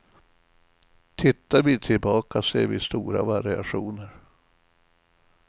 Tittar vi tillbaka ser vi stora variationer.